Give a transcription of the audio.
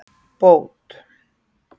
Bót